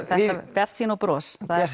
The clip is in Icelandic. bjartsýni og bros það er